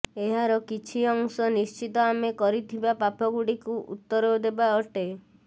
ଏହାର କିଛି ଅଂଶ ନିଶ୍ଚିତ ଆମେ କରିଥିବା ପାପଗୁଡିକୁ ଉତ୍ତର ଦେବା ଅଟେ